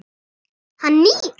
Hann nýr.